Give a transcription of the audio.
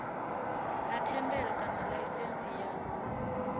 na thendelo kana laisentsi ya